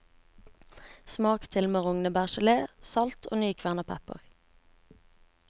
Smak til med rognebærgelé, salt og nykvernet pepper.